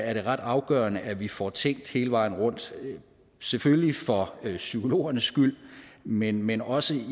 er det ret afgørende at vi får tænkt hele vejen rundt selvfølgelig for psykologernes skyld men men også